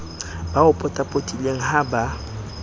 ba o potapotileng ha ba